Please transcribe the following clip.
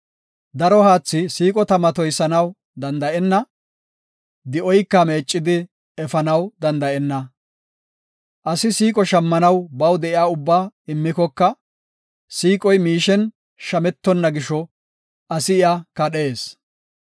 Daro haathi siiqo tama toysanaw danda7enna; di7oyka meeccidi efanaw danda7enna. Asi siiqo shammanaw baw de7iya ubbaa immikoka, siiqoy miishen shametonna gisho, asi iya kadhees.